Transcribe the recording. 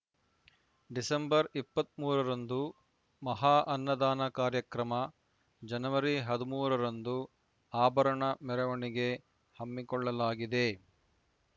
December ಇಪ್ಪತ್ತ್ ಮೂರು ರಂದು ಮಹಾ ಅನ್ನದಾನ ಕಾರ್ಯಕ್ರಮ ಜನವರಿ ಹದಿಮೂರ ರಂದು ಆಭರಣ ಮೆರವಣಿಗೆ ಹಮ್ಮಿಕೊಳ್ಳಲಾಗಿದೆ